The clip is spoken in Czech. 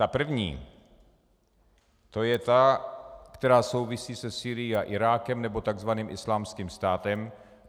Ta první, to je ta, která souvisí se Sýrií a Irákem, nebo takzvaným Islámským státem.